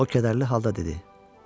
O kədərli halda dedi: "Bəsdir!"